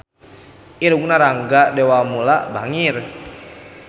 Irungna Rangga Dewamoela bangir